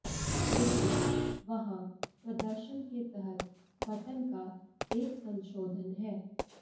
लेकिन वहाँ प्रदर्शन के तहत बटन का एक संशोधन है